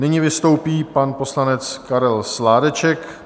Nyní vystoupí pan poslanec Karel Sládeček.